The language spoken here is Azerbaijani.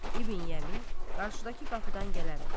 İbn Yəmin qarşıdakı qapıdan gələrək.